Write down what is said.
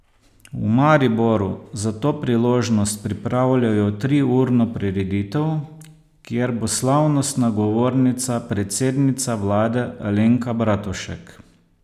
V Mariboru za to priložnost pripravljajo triurno prireditev, kjer bo slavnostna govornica predsednica vlade Alenka Bratušek.